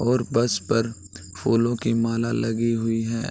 और बस पर फूलों की माला लगी हुई है।